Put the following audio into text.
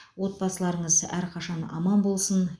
отбасыларыңыз әрқашан аман болсын